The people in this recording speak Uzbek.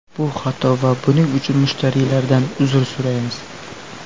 Bu xato va buning uchun mushtariylardan uzr so‘raymiz.